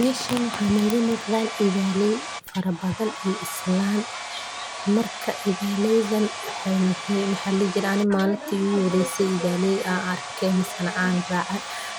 Meshan mxa iga muqdan idhaley fara badan iyo islan ,marki igu horese oo idholey an arko,